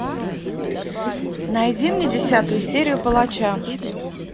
найди мне десятую серию палача